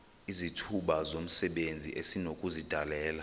izithuba zomsebenzi esinokuzidalela